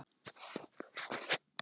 Það var geysilega gaman.